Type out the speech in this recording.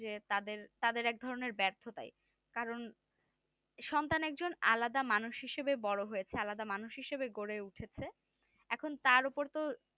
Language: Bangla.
যে তাদের তাদের একধরণের ব্যার্থতায় কারণ সন্তান একজন একটা আলাদা মানুষ হিসাবে বড় হয়েছে আলাদা মানুষ হিসাবে গড়ে উঠেছে এখন তার উপর তো